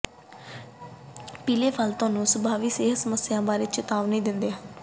ਪੀਲੇ ਫਲ ਤੁਹਾਨੂੰ ਸੰਭਾਵੀ ਸਿਹਤ ਸਮੱਸਿਆਵਾਂ ਬਾਰੇ ਚੇਤਾਵਨੀ ਦਿੰਦੇ ਹਨ